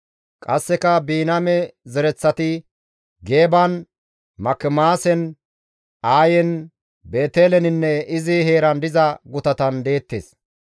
Qasseka Biniyaame zereththati, Geeban, Makimaasen, Aayen, Beeteleninne izi heeran diza gutatan deettes;